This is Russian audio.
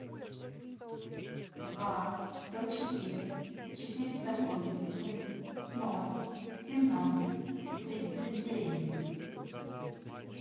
два сто четыре четыреста восемьдесят ноль семнадцать тридцать девять